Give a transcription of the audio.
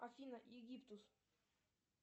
афина египтус